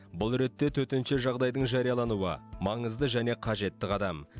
бұл ретте төтенше жағдайдың жариялануы маңызды және қажетті қадам